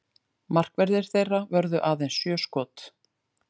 Markverðir þeirra vörðu aðeins sjö skot